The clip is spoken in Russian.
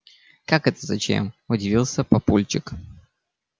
как это зачем удивился папульчик